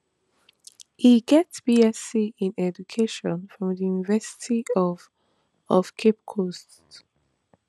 e get bsc in education from di university of of cape coast